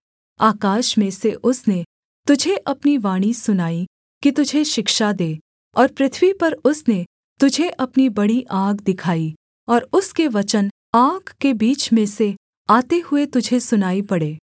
आकाश में से उसने तुझे अपनी वाणी सुनाई कि तुझे शिक्षा दे और पृथ्वी पर उसने तुझे अपनी बड़ी आग दिखाई और उसके वचन आग के बीच में से आते हुए तुझे सुनाई पड़े